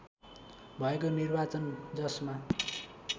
भएको निर्वाचन जसमा